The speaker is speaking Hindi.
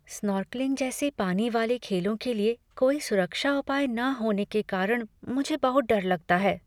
स्नॉर्कलिंग जैसे पानी वाले खेलों के लिए कोई सुरक्षा उपाय न होने के कारण मुझे बहुत डर लगता है।